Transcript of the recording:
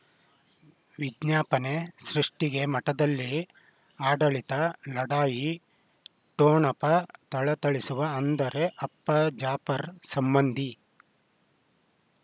ವಿಜ್ಞಾಪನೆ ಸೃಷ್ಟಿಗೆ ಮಠದಲ್ಲಿ ಆಡಳಿತ ಲಢಾಯಿ ಠೊಣಪ ಥಳಥಳಿಸುವ ಅಂದರೆ ಅಪ್ಪ ಜಾಪರ್ ಸಂಬಂಧಿ